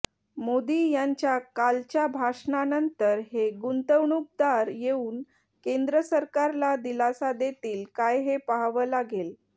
मोदी यांच्या कालच्या भाषणानंतर हे गुंतवणुकदार येऊन केंद्र सरकारला दिलासा देतील काय हे पहावं लागेल